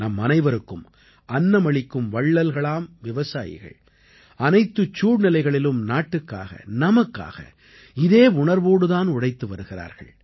நம்மனைவருக்கும் அன்னமளிக்கும் வள்ளல்களாம் விவசாயிகள் அனைத்துச் சூழ்நிலைகளிலும் நாட்டுக்காக நமக்காக இதே உணர்வோடு தான் உழைத்து வருகிறார்கள்